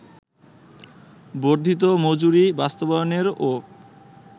বর্ধিত মজুরি বাস্তবায়নেরও